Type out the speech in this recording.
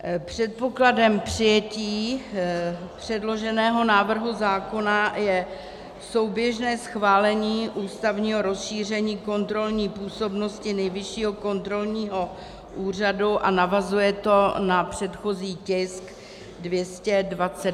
Předpokladem přijetí předloženého návrhu zákona je souběžné schválení ústavního rozšíření kontrolní působnosti Nejvyššího kontrolního úřadu a navazuje to na předchozí tisk 229, který jste schválili.